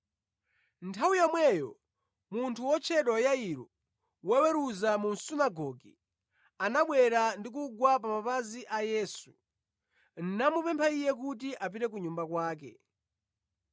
Nthawi yomweyo munthu wotchedwa Yairo, woweruza wa mu sunagoge, anabwera ndi kugwa pa mapazi a Yesu, namupempha Iye kuti apite ku nyumba kwake,